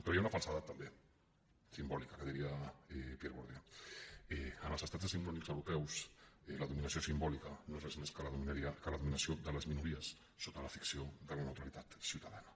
però hi ha una falsedat també simbòlica que diria pierre bourdieu en els estats decimonònics europeus la dominació simbòlica no és res més que la dominació de les minories sota la ficció de la neutralitat ciutadana